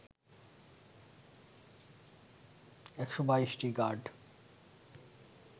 ১২২টি গাড